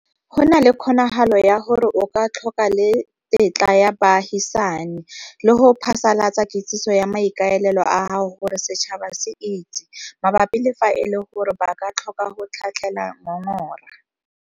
Go na le kgonagalo ya gore o ka tlhoka le tetla ya baagisani, le go phasalatsa kitsiso ya maikaelelo a gago gore setšhaba se itse, mabapi le fa e le gore ba ka tlhoka go tlhatlhela ngongora.